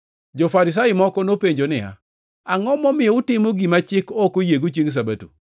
Jo-Farisai moko nopenjo niya, “Angʼo momiyo utimo gima chik ok oyiego chiengʼ Sabato?”